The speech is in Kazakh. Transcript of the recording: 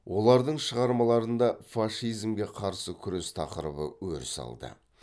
олардың шығармаларында фашизмге қарсы күрес тақырыбы өріс алды